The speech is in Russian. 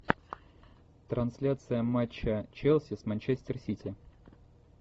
трансляция матча челси с манчестер сити